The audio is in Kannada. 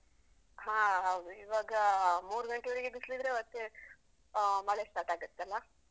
ಹಾ ಹೌದು. ಇವಾಗಾ ಮೂರು ಗಂಟೆವರ್ಗೆ ಬಿಸ್ಲಿದ್ರೆ ಮತ್ತೆ, ಆ ಮಳೆ start ಆಗತಲ್ಲ.